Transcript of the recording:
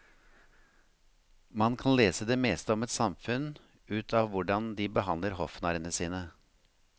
Man kan lese det meste om et samfunn ut av hvordan de behandler hoffnarrene sine.